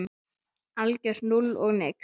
Algjört núll og nix.